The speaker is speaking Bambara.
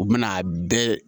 U bɛna a bɛɛ